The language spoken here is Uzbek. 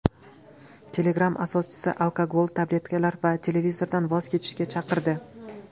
Telegram asoschisi alkogol, tabletkalar va televizordan voz kechishga chaqirdi.